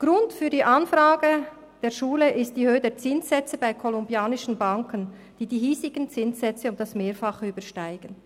Grund für die Anfrage der Schule ist die Höhe der Zinssätze bei kolumbianischen Banken, die die hiesigen Zinssätze um das Mehrfache übersteigen.